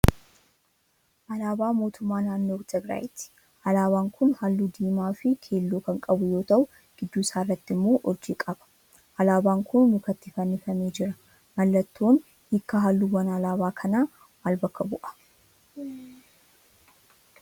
Alaabaa mootummaa naannoo Tigiraayiiti. Alaabaan kun halluu diimaa fi keelloo kan qabu yoo tahu gidduu isaarraa immoo urjii qab. Alaabaan kun mukatti fannifamee jira. Mallattoon hiikkaa halluuwwan alaabaa kanaa maal bakka bu'a?